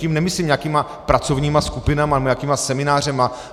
Tím nemyslím nějakými pracovními skupinami nebo nějakými semináři.